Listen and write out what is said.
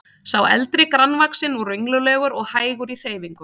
Sá eldri grannvaxinn og renglulegur og hægur í hreyfingum.